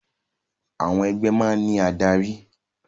Àwọn ẹgbẹ́ máa ń ní adarí